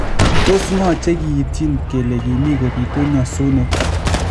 Tos ng'oo chekiityin kele kimii kopitu nyosunet?